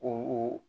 O